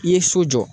I ye so jɔ